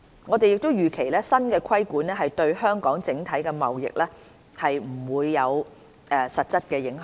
我們預期新的規管對香港整體的貿易不會有實質影響。